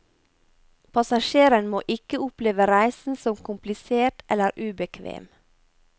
Passasjerene må ikke oppleve reisen som komplisert eller ubekvem.